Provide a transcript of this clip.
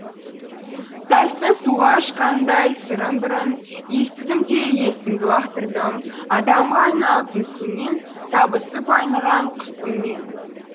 тастың суға ашқанындай сырын бір үн естідім де есімді лақтырдым адамға айналып мүсіннен табысып айныған құсыммен